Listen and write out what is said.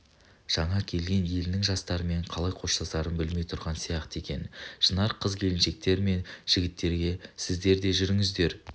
жаңа келген елінің жастарымен қалай қоштасарын білмей тұрған сияқты екен шынар қыз-келіншектер мен жігіттергесіздер де жүріңіздер